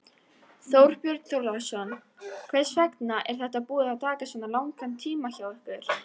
Þorbjörn Þórðarson: Hvers vegna er þetta búið að taka svona langan tíma hjá ykkur?